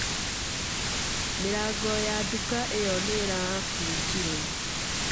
Mĩrango ya nduka ĩyo nĩ ĩrabunjirũo.